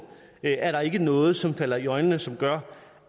er der ikke noget som falder i øjnene og som gør